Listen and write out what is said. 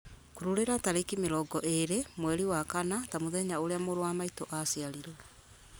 kururĩra tarĩki mĩrongo ĩĩrĩ mweri wa kana ta mũthenya ũrĩa mũrũ wa maitũ aciarirwo